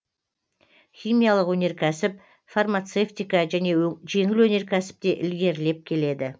химиялық өнеркәсіп фармацевтика және жеңіл өнеркәсіп те ілгерілеп келеді